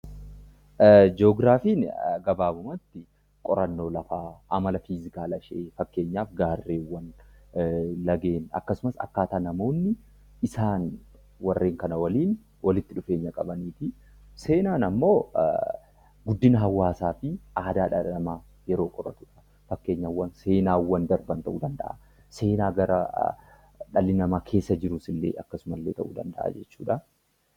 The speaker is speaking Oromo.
Ji'ogiraafiin gabaabumatti qorannoo lafaa, amala fiizikaalaashee fakkeenyaaf gaarreewwan, laggeen akkasumas akkaataa namoonni isaan warreen kana waliin walitti dhufeenya qabanii fi seenaan ammoo guddina hawaasaa fi aadaa dhala namaa yeroo qoratudha. Fakkeenyaaf seenaawwan darban ta'uu danda'a, seenaa gara dhalli namaa keessa jirus illee akkasuma illee ta'uu danda'a jechuudha.